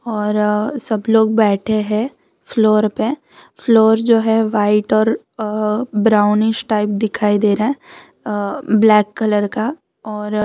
और सब लोग बैठे है फ्लोर पे फ्लोर जो है व्हाइट और आ ब्राउनिश टाइप दिखाई रहा है अ ब्लैक कलर का और --